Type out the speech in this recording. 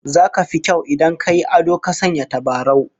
Zaka fi kyau idan ka yi ado ka sanya tabarau